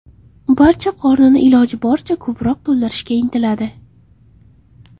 Barcha qornini iloji boricha ko‘proq to‘ldirishga intiladi.